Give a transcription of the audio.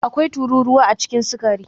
Akwai tururuwa a cikin sukari